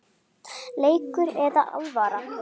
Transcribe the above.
Leikur eða alvara?